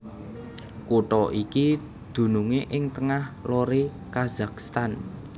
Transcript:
Kutha iki dunungé ing tengah loré Kazakhstan